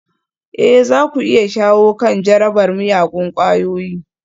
Ee za ku iya shawo kan jarabar miyagun ƙwayoyi